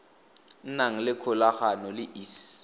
nang le kgolagano le iss